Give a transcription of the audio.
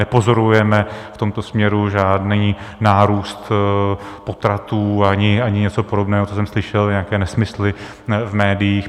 Nepozorujeme v tomto směru žádný nárůst potratů ani něco podobného, co jsem slyšel, nějaké nesmysly v médiích.